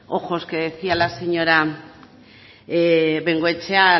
ojos que decía la señora bengoechea